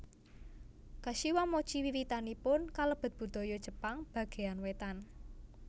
Kashiwamochi wiwitanipun kalebet budaya Jepang bagéyan wétan